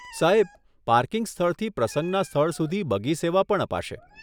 સાહેબ, પાર્કિંગ સ્થળથી પ્રસંગના સ્થળ સુધી બગી સેવા પણ અપાશે.